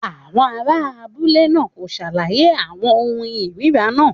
Àwọn ará abúlé náà kò ṣàlàyé àwọn ohun ìríra náà.